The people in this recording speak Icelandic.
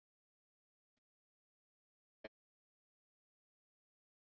Þetta kemur í ljós á mánudag á einn eða annan hátt.